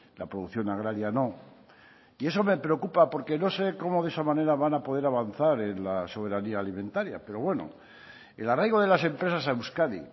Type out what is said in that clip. la producción agraria no y eso me preocupa por qué no sé cómo de esa manera van a poder avanzar en la soberanía alimentaria pero bueno el arraigo de las empresas a euskadi